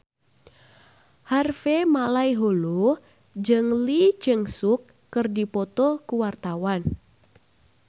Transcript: Harvey Malaiholo jeung Lee Jeong Suk keur dipoto ku wartawan